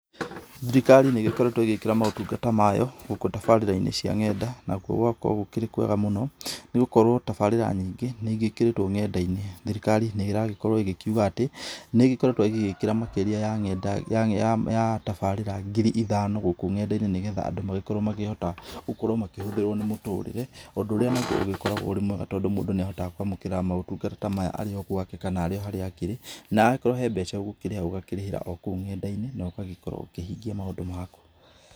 Thirikari nĩ ĩgĩkoretwo ĩgĩkĩra maũtungata mayo gũkũ tabarĩra-inĩ cia nenda, nakuo gũgakorwo gũkĩrĩ kwega mũno. Nĩgũkorwo tabarĩra nyingũ nĩigĩkĩrĩtwo nenda-inĩ. Thirikari nĩĩragĩkorwo ĩkiuga atĩ nĩĩgĩkoretwo ĩgĩĩkĩra makĩria ya tabarĩra ngiri ithano gũkũ nenda-inĩ, nĩgetha andũ magakĩhota gũkorwo makĩhũthĩrwo nĩ mũtũrĩre. Ũndũ ũria ũrĩgĩkoragwo ũrĩ mwega, tondũ mũndũ nĩahotaga kwamũkĩra maũtungata maya arĩ o gwake, kana akĩrĩ o haria akĩrĩ. Na agĩkorwo hena mbeca ũgũkĩrĩhaga ũkarĩhĩra o kũu nenda-inĩ na ũgakorwo ũkihingia maũndũ maku.